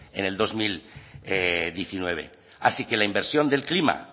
en el dos mil diecinueve así que la inversión del clima